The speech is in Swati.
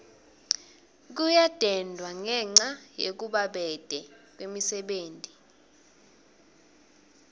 kuyadendwa ngenca yekubabete kwemisebenti